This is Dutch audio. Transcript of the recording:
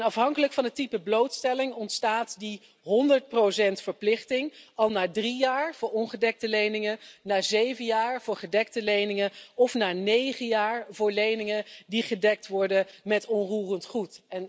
Afhankelijk van het type blootstelling ontstaat die 100 verplichting al na drie jaar voor ongedekte leningen, na zeven jaar voor gedekte leningen, of na negen jaar voor leningen die gedekt worden met onroerend goed.